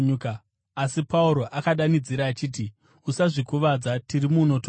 Asi Pauro akadanidzira achiti, “Usazvikuvadza! Tiri muno tose!”